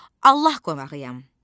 Allah qonağıyam.